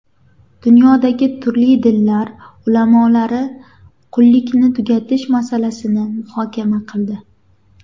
Dunyodagi turli dinlar ulamolari qullikni tugatish masalasini muhokama qildi.